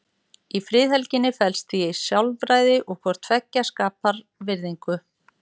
Í friðhelginni felst því sjálfræði og hvort tveggja skapar virðingu.